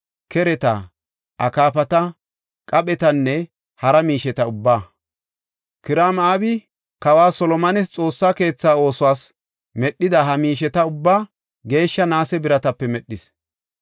kereta, akaafata, qaphetanne hara miisheta ubbaa. Kiraam-Abi kawa Solomones Xoossa keethaa oosuwas medhida ha miisheta ubbaa geeshsha naase biratape medhis.